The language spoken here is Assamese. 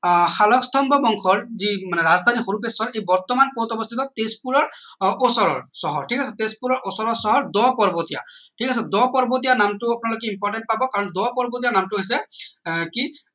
আহ শালস্তম্ভ বংশৰ যি মানে ৰাজধানী হৰূপেশ্বৰ ই বৰ্তমান কত অৱস্থিত তেজপুৰৰ ওচৰৰ চহৰ ঠিক আছে চহৰ তেজপুৰৰ ওচৰ চহৰ দ পৰ্বতীয়া ঠিক আছে দ পৰ্বতীয়া নামটো আপোনালোকে important পাব কাৰণ দ পৰ্বতীয়া নামটো হৈছে আহ কি